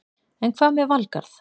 En hvað með Valgarð?